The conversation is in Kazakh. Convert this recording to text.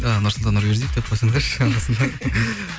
ы нұрсұлтан нұрбердиев деп қойсаңдаршы арасында